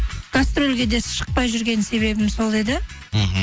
гастрольге де шықпай жүрген себебім сол еді мхм